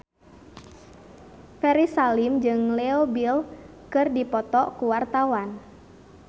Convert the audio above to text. Ferry Salim jeung Leo Bill keur dipoto ku wartawan